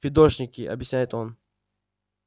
фидошники объясняет он